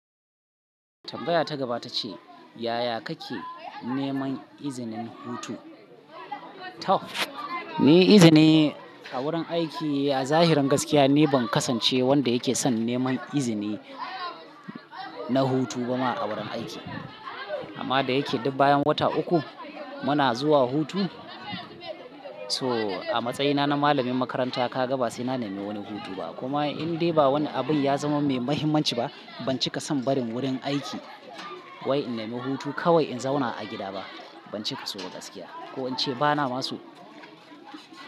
Tambaya ta gaba ta ce, yaya kake neman izinin hutu? Tab, ni izini a wurin aiki a zahirin gaskiya, ni ban kasance wanda yake son neman izini na hutu ba ma a wurin aiki. Amma da yake duk bayan wata uku muna zuwa hutu. So a matsayina na malamin makaranta ka ga ba sai na nemi wani hutu ba. Kuma in dai ba wani abin ya zama mai mahimmanci ba, ban cika son barin wurin aiki wai in nemi hutu kawai in zauna a gida ba. Ban cika soba gaskiya ko in ce bana maso.